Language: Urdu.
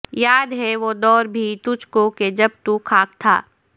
یاد ہے وہ دور بھی تجھ کو کہ جب تو خاک تھا